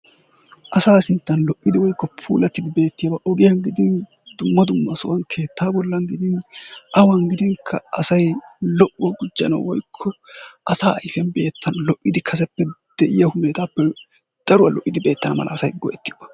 Asa sinttan lo''idi woykk opuulatidi beettiyaaba ogiyaan gidin dumma dumma sohuwa keetta bolla gidin awa gidinkka asay lo''uwa gujjanaw woykko asaa ayfiya beettanaw lo''id kaseppe de'iyaa hunetaappe daruwa lo''id beetteana mala asay go''etiyooba.